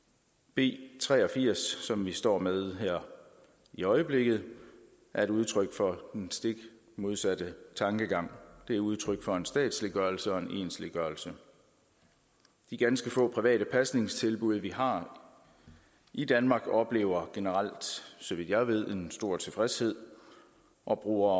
b tre og firs som vi står med her i øjeblikket er udtryk for den stik modsatte tankegang det er udtryk for en statsliggørelse og en ensliggørelse de ganske få private pasningstilbud vi har i danmark oplever generelt så vidt jeg ved en stor tilfredshed og bruger